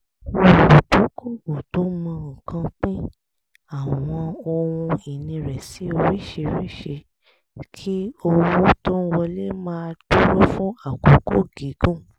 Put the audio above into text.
olùdókòwò tó mọ nǹkan pín àwọn ohun ìní rẹ̀ sí oríṣiríṣi kí owó tó ń wọlé máa dúró fún àkókò gígùn